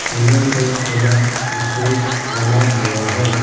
फुलो से सजा स्टेज बना हुआ है ।